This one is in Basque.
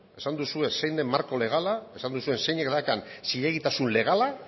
esan duzue zein den marko legala esan duzuen zeinek daukan zilegitasun legala